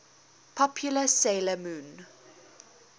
popular 'sailor moon